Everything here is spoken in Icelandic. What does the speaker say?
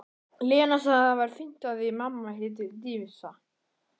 Lena sagði að það væri af því mamma héti Dísa.